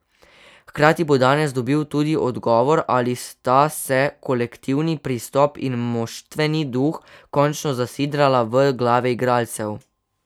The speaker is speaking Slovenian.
Hkrati bo danes dobil tudi odgovor, ali sta se kolektivni pristop in moštveni duh končno zasidrala v glave igralcev.